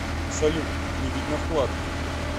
салют не видно вклад